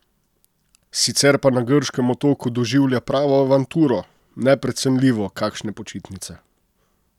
Sicer pa na grškem otoku doživlja pravo avanturo: "Neprecenljivo, kakšne počitnice ...